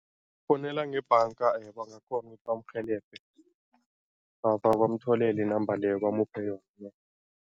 Fowunela ngebhanga bangakghona ukuthi bamrhelebhe, bamtholele i-number leyo bamuphe yona.